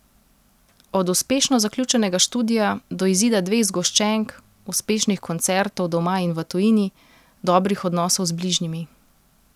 Od uspešno zaključenega študija do izida dveh zgoščenk, uspešnih koncertov doma in v tujini, dobrih odnosov z bližnjimi...